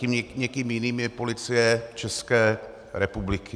Tím někým jiným je Policie České republiky.